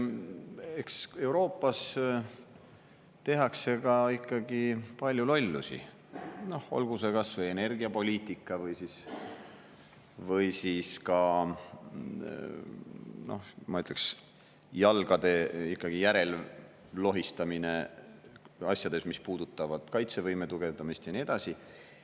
Eks Euroopas tehakse ikkagi ka palju lollusi, olgu see kas või energiapoliitika või siis ka, ma ütleks, jalgade järel lohistamine asjades, mis puudutavad kaitsevõime tugevdamist ja nii edasi.